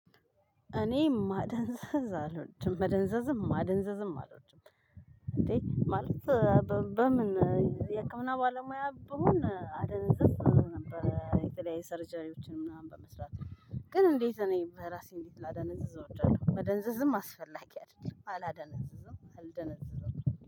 እኔ ማደንዘዝ አልወድም መደንዘዝም፣ ማደንዘዝም አልወድም እንዴ ማለት በምን የህክምና ባለሙያ ብሆን አደነዘዝ ነበር። የጥላው ሰርጀሪዎችን ምናምን በመስራት፤ ግን እንዴት እኔ በራሴ እንዴት ላደነዝዝ እወድዳለሁ? መደንዘዝም አስፈላጊ አይደለም። አላደነዝዝም፣ አልደነዝዝም።